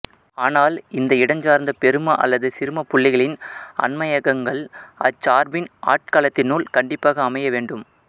ஆனால் இந்த இடஞ்சார்ந்த பெரும அல்லது சிறுமப் புள்ளிகளின் அண்மையகங்கள் அச்சார்பின் ஆட்களத்தினுள் கண்டிப்பாக அமைய வேண்டும்